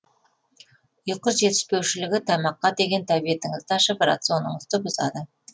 ұйқы жетіспеушілігі тамаққа деген тәбетіңізді ашып рационыңызды бұзады